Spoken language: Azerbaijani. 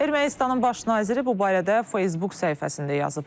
Ermənistanın baş naziri bu barədə Facebook səhifəsində yazıb.